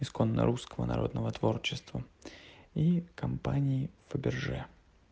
исконно русского народного творчества и компании фаберже